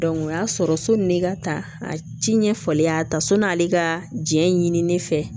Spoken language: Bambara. o y'a sɔrɔ sɔni ka ta a ci ɲɛfɔlen y'a ta sɔnn'ale ka jɛn ɲini ne fɛ